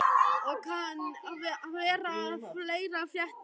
Og kann vera að fleira fréttist.